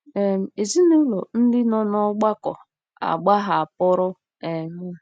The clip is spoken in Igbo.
um Ezinụlọ ndị nọ n'ọgbakọ agbahapụrụ um m.